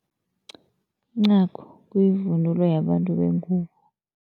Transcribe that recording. Incagu kuyivunulo yabantu bengubo.